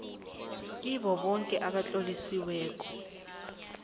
kibo boke abatlolisiweko